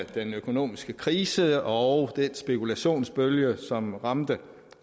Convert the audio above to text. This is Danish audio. på den økonomiske krise og den spekulationsbølge som ramte